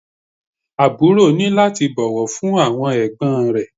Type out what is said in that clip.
Àbúrò ní láti bọ̀wọ̀ fún àwọn ẹ̀gbọ́n rẹ̀